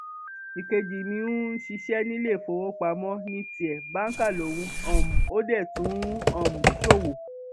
ìkejì mi ń ṣiṣẹ níléèfowópamọ ní tiẹ báńkà lòun um ò dé tún ń um ṣòwò